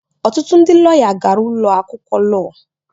Ọtụtụ ndị lọya gara ụlọ akwụkwọ lọọ.